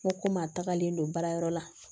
N ko komi a tagalen don baarayɔrɔ la